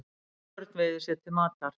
Haförn veiðir sér til matar.